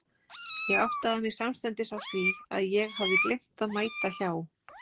Ég áttaði mig samstundis á því að ég hafði gleymt að mæta hjá